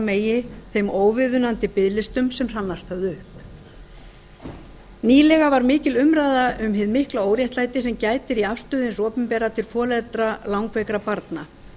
megi þeim óviðunandi biðlistum sem hrannast höfðu upp nýlega var mikil umræða um hið mikla óréttlæti sem gætir í afstöðu hins opinbera til foreldra langveikra barna